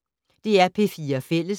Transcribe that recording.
DR P4 Fælles